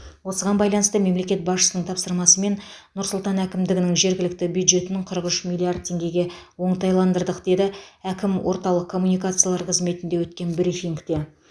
осыған байланысты мемлекет басшысының тапсырмасымен нұр сұлтан әкімдігінің жергілікті бюджетінің қырық үш миллиард теңгеге оңтайландырдық деді әкім орталық коммуникациялар қызметінде өткен брифингте